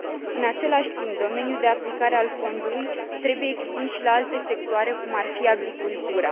În același timp, domeniul de aplicare al fondului trebuie extins și la alte sectoare, cum ar fi agricultura.